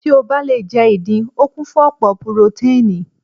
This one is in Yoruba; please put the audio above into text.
Tí o bá le jẹ́ ìdin, o kún fún ọ̀pọ̀ purotánìì.